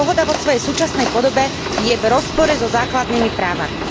Dohoda vo svojej súčasnej podobe je v rozpore so základnými právami.